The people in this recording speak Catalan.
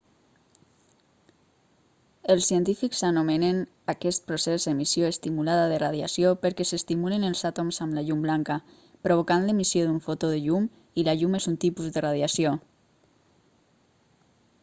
els científics anomenen aquest procés emissió estimulada de radiació perquè s'estimulen els àtoms amb la llum blanca provocant l'emissió d'un fotó de llum i la llum és un tipus de radiació